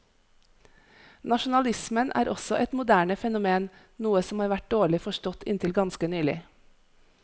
Nasjonalismen er også et moderne fenomen, noe som har vært dårlig forstått inntil ganske nylig.